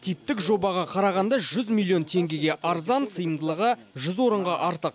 типтік жобаға қарағанда жүз милллион теңгеге арзан сыйымдылығы жүз орынға артық